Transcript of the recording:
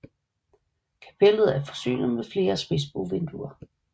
Kapellet er forsynet med flere spidsbuevinduer